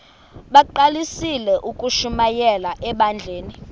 bagqalisele ukushumayela ebandleni